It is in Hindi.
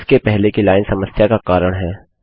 इसके पहले की लाइन समस्या का कारण है